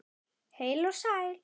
Heil og sæl!